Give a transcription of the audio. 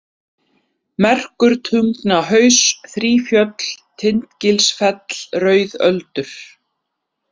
Merkurtungnahaus, Þrífjöll, Tindgilsfell, Rauðöldur